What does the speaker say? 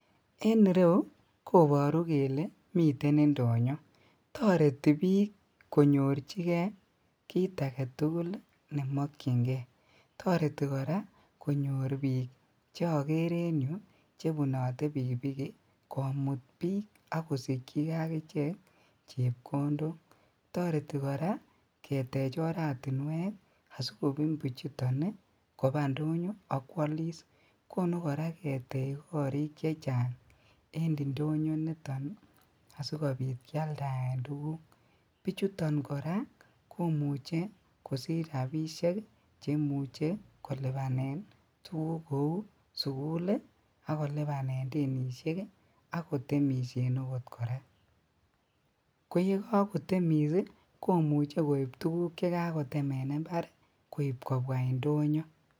En ireyu koboru kele mi indonyo toreti bik konyorjigee kii agetugul nemokyingee, toreti koraa konyor bik chokere en yu chebunote pikipiki komut bik ak kosikyigee akichek chepkondok, toreti koraa ketech oratinwek asikobun bichuton kobaa kwolis konu koraa ketech korik chechang en indonyo initon asikobit kialdaen tuguk, bichuto koraa komuche kosich rabisiek cheimuche kwalen tuguk kou sukul ii ak kolibane denishek ii ak kotemishen okot koraa koyekokotemis komuche koib tuguk chekakotem en imbar koib kobwaa indonyo.